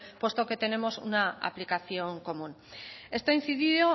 puesto que tenemos una aplicación común esto ha incidido